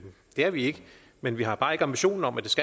er vi ikke men vi har bare ikke ambitionen om